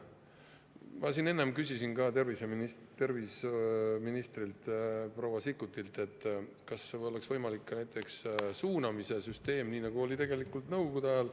Ma enne küsisin ka terviseminister proua Sikkutilt, kas oleks võimalik näiteks suunamise süsteem, nii nagu oli Nõukogude ajal.